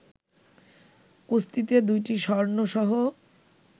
কুস্তিতে ২টি স্বর্ণসহ